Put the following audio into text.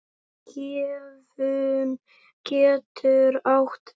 Gefjun getur átt við